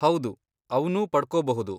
ಹೌದು, ಅವ್ನು ಪಡ್ಕೋಬಹುದು.